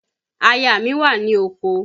Aya mi wà ní oko